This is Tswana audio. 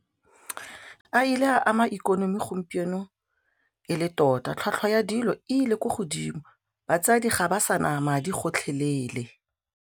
A ile a ama ikonomi gompieno e le tota tlhwatlhwa ya dilo e ile ko godimo, batsadi ga ba sa na madi gotlhelele.